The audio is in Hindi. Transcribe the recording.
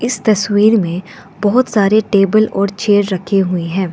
इस तस्वीर में बहोत सारे टेबल और चेयर रखे हुए हैं।